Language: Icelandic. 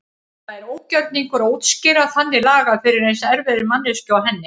Það er ógjörningur að útskýra þannig lagað fyrir eins erfiðri manneskju og henni.